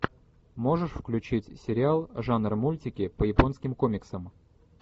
можешь включить сериал жанр мультики по японским комиксам